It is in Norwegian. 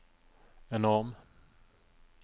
enorm